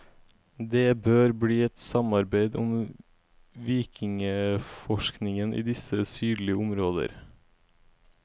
Det bør bli et samarbeid om vikingeforskningen i disse sydlige områder.